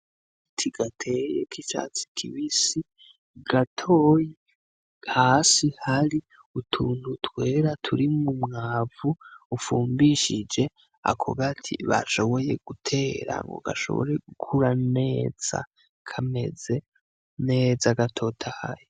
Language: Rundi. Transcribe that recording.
Agati gateye k'icatsi kibisi gatoyi hasi hari utuntu twera turimwo umwavu ufumbishije ako gati bashoboy gutera ngo gashobore gukura neza kameze neza gatotahaye.